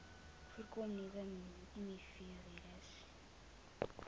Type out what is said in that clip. voordat nuwe mivirusse